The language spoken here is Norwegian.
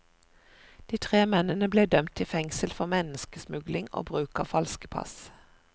De tre mennene ble dømt til fengsel for menneskesmugling og bruk av falske pass.